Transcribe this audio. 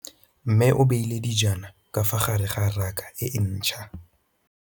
Mmê o beile dijana ka fa gare ga raka e ntšha.